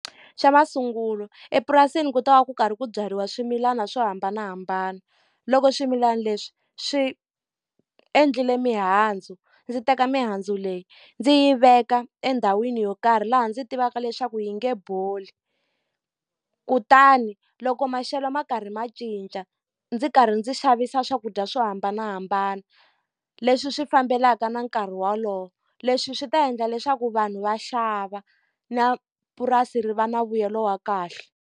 Xa masungulo epurasini ku ta va ku karhi ku byariwa swimilana swo hambanahambana. Loko swimilana leswi swi endlile mihandzu, ndzi teka mihandzu leyi ndzi yi veka endhawini yo karhi laha ndzi tivaka leswaku yi nge boli. Kutani loko maxelo ma karhi ma cinca, ndzi karhi ndzi xavisa swakudya swo hambanahambana leswi swi fambelaka na nkarhi wolowo. Leswi swi ta endla leswaku vanhu va xava na purasi ri va na mbuyelo wa kahle.